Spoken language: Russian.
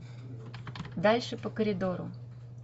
дальше по коридору